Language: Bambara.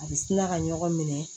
A bɛ tila ka ɲɔgɔn minɛ